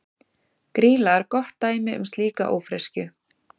Grýla er gott dæmi um slíka ófreskju.